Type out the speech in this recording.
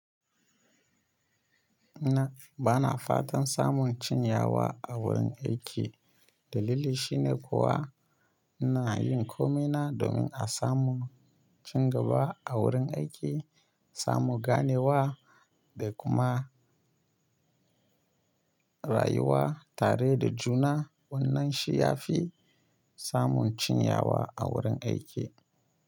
Na, bana fatan samun cin yawa a wurin aiki. Dalili shine kuwa ina yin komai na domin a samu cin gaba a wurin aiki, samu ganewa da kuma rayuwa tare da juna. Wannan shi ya fi samun cin yawa a wurin aiki.